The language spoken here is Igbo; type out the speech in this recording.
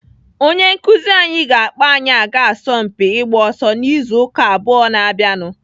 Onye nkụzi anyị ga-akpọ anyị aga asọmpi ịgba ọsọ n'izu ụka abụọ na-abịanụ.